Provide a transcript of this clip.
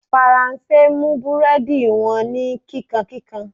Faranse mú búrẹ́dì wọn ní kíkankíkan.